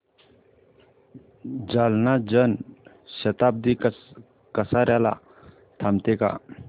जालना जन शताब्दी कसार्याला थांबते का